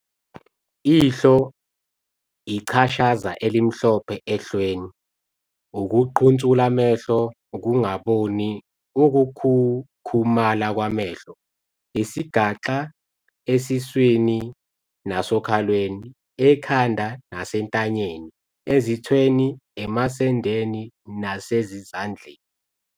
Ihlo - Ichashaza elimhlophe ehlweni, ukuqhunsula amehlo, ukungaboni, ukukhukhumala kwamehlo. Isigaxa - Esiswini nasokhalweni, ekhanda nasentanyeni, ezithweni, emasendeni nasezindlaleni.